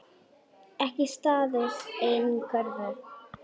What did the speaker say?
Ekki staðist eigin kröfur.